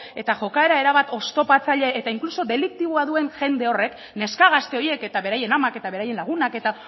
eta jokaera erabat oztopatzaile eta inkluso deliktiboa duen jende horrek neska gazte horiek eta beraien amak eta beraien lagunak eta